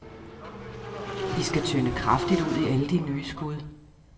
I skal tynde kraftigt ud i alle de nye skud.